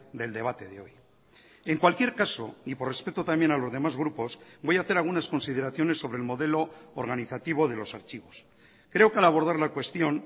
del debate de hoy en cualquier caso y por respeto también a los demás grupos voy a hacer algunas consideraciones sobre el modelo organizativo de los archivos creo que al abordar la cuestión